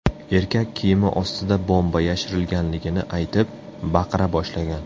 Erkak kiyimi ostida bomba yashirilganligini aytib, baqira boshlagan.